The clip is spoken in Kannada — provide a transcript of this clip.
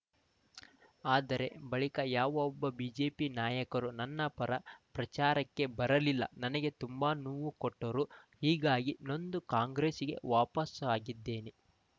ಆದರೆ ಬಳಿಕ ಯಾವೊಬ್ಬ ಬಿಜೆಪಿ ನಾಯಕರೂ ನನ್ನ ಪರ ಪ್ರಚಾರಕ್ಕೆ ಬರಲಿಲ್ಲ ನನಗೆ ತುಂಬಾ ನೋವು ಕೊಟ್ಟರು ಹೀಗಾಗಿ ನೊಂದು ಕಾಂಗ್ರೆಸ್‌ಗೆ ವಾಪಸಾಗಿದ್ದೇನೆ